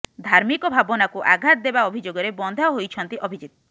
ଧାର୍ମିକ ଭାବନାକୁ ଆଘାତ ଦେବା ଅଭିଯୋଗରେ ବନ୍ଧା ହୋଇଛନ୍ତି ଅଭିଜିତ